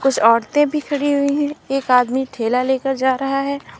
कुछ औरतें भी खड़ी हुई हैं एक आदमी ठेला लेकर जा रहा है।